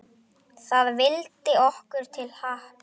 Það vildi okkur til happs.